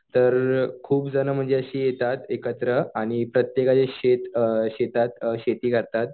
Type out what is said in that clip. तर खुपजण म्हणजे अशी येतात एकत्र आणि प्रत्येकाचे शेत अ शेतात शेती करतात.